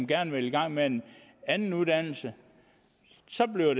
gerne vil i gang med en anden uddannelse så bliver